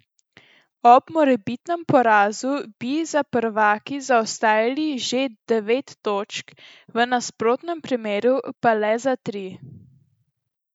Ob morebitnem porazu bi za prvaki zaostajali že devet točk, v nasprotnem primeru pa le za tri.